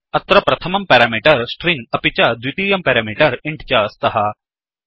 अत्र प्रथमं parameter string अपि च द्वितीयं पेरामीटर् इन्ट् च स्तः